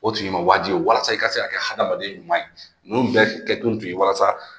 O tun ye i ma wajibi ye walasa i ka se a kɛ hadamaden ɲuman ye ninnu bɛɛ kɛkun tun ye walasa